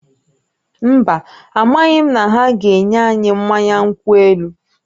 Mba, amaghị m na ha ga-enye anyị mmanya nkwụ elu